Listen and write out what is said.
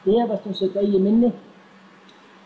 efast um sitt eigið minni